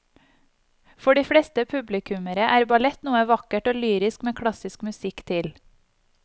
For de fleste publikummere er ballett noe vakkert og lyrisk med klassisk musikk til.